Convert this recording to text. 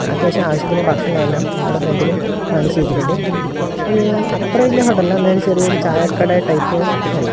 അത്യാവശ്യം ആവശ്യത്തിന് ഭക്ഷണങ്ങൾ എല്ലാം അവിടെ ഫ്രണ്ടിലെ കാണിച്ച് വച്ചിട്ടുണ്ട് ഒരു അത്ര വലിയ ഹോട്ടൽ അല്ല എന്നാലും ചെറിയൊരു ചായക്കട ടൈപ്പ് എല്ലാം.